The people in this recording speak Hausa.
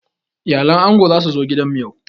Iyalan ango za su zo gidan mu yau.